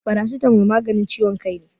Farasitamo maganin ciwon kai ne